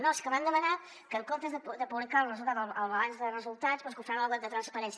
no és que han demanat que en comptes de publicar el resultat al balanç de resultats doncs que ho fem al web de transparència